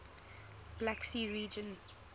black sea region